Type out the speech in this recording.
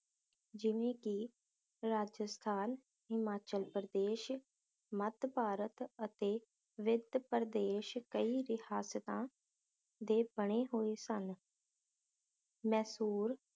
ਜਿਵੇਂ ਕਿ ਰਾਜਸਥਾਨ, ਹਿਮਾਚਲ ਪ੍ਰਦੇਸ਼, ਮਤ ਭਾਰਤ ਅਤੇ ਵਿੱਤ ਪ੍ਰਦੇਸ਼ ਕਈ ਰਿਹਾਸਤਾਂ ਦੇ ਬਣੇ ਹੋਏ ਸਨ ਮੈਸੂਰ